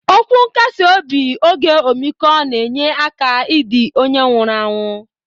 Okwu nkasi obi oge omikọ na enye aka idi onye nwuru anwụ.